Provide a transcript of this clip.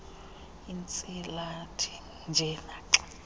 iintsilathi nje naxa